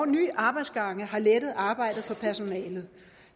nye arbejdsgange har lettet arbejdet for personalet